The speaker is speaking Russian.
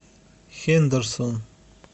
хендерсон